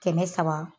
Kɛmɛ saba